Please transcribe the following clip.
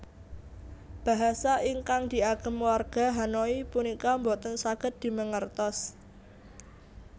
Bahasa ingkang diagem warga Hanoi punika mboten saged dimengertos